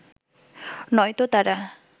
নয়তো তারা